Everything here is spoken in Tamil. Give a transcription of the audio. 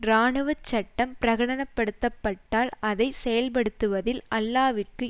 இராணுவச்சட்டம் பிரகடனப்படுத்தப்பட்டால் அதை செயல்படுத்துவதில் அல்லாவிக்கு